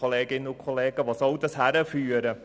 Wo soll das hinführen?